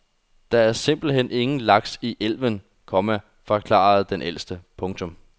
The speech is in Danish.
Der var simpelt hen ingen laks i elven, komma forklarede den ældste. punktum